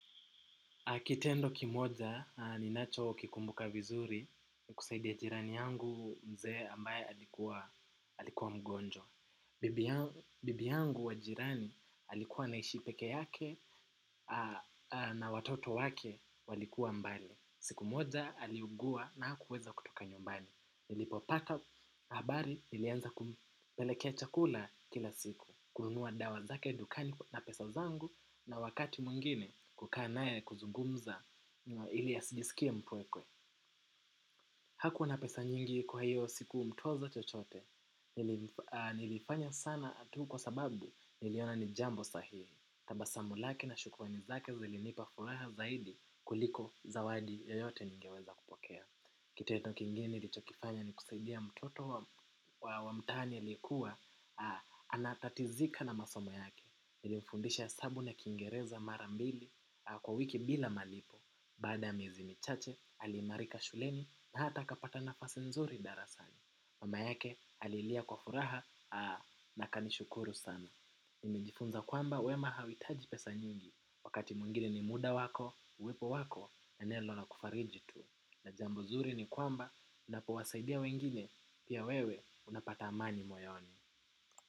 Kitendo kimoja ninacho kikumbuka vizuri ni kusaidia jirani yangu mzee ambae alikuwa mgonjwa. Bibi yangu wa jirani alikuwa anaishi peke yake na watoto wake walikuwa mbali. Siku moza aliugua na hakuweza kutoka nyumbani. Nilipo pata habari nilianza kupelekea chakula kila siku. Kununua dawa zake dukani na pesa zangu na wakati mwingine kukaa nae kuzugumza ili asijisikie mpwekwe. Hakuwa na pesa nyingi kwa hiyo siku mtoza chochote. Nilifanya sana tu kwa sababu niliona ni jambo sahihi. Tabasamu lake na shukurani zake zilinipa furaha zaidi kuliko zawadi yoyote ningeweza kupokea. Kitendo kingine nilichokifanya ni kusaidia mtoto wa mtaani aliekuwa anatatizika na masomo yake. Nili mfundisha hesabu na kingereza marambili kwa wiki bila malipo. Baada miezi michache aliimarika shuleni na hata akapata nafasi nzuri darasani. Mama yake alilia kwa furaha na akanishukuru sana. Nimejifunza kwamba wema hauitaji pesa nyingi. Wakati mwingine ni muda wako, uwepo wako na neno na kufariji tu na jambo zuri ni kwamba unapowasaidia wengine pia wewe unapata amani moyoni.